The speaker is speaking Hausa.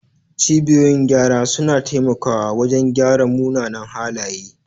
Cibiyoyin gyara suna taimakawa wajen gyara munanan halaye.